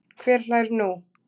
Hver hlær nú?